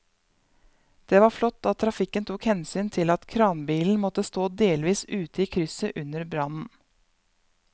Det var flott at trafikken tok hensyn til at kranbilen måtte stå delvis ute i krysset under brannen.